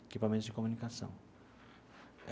Equipamentos de comunicação.